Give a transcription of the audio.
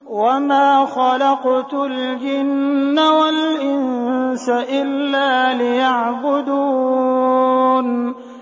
وَمَا خَلَقْتُ الْجِنَّ وَالْإِنسَ إِلَّا لِيَعْبُدُونِ